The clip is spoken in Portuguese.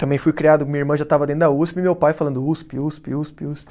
Também fui criado, minha irmã já estava dentro da Usp, e meu pai falando Uspi, Uspi, Uspi, Uspi